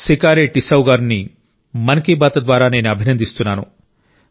సికారి టిస్సౌ గారిని మన్ కి బాత్ ద్వారా నేను అభినందిస్తున్నాను